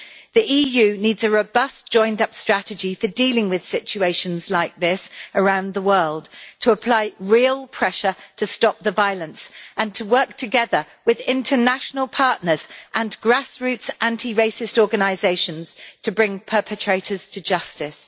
The EU needs a robust, joined up strategy for dealing with situations like this around the world, to apply real pressure to stop the violence and to work together with international partners and grassroots anti racist organisations to bring perpetrators to justice.